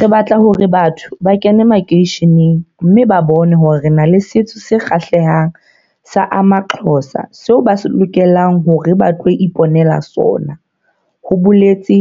"Re batla hore batho ba kene makeisheneng mme ba bone hore re na le setso se kgahlehang sa amaXhosa seo ba lokelang hore ba tlo ipo nela sona," ho boletse